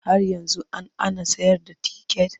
Har yanzu an ana sayar da ticket?